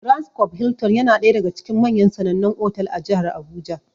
Transcob Hilton ya na ɗaya daga cikin manyan sanannan otal a jihar Abuja.